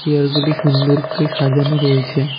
চেয়ারগুলি সুন্দর করে সাজানো রয়েছে।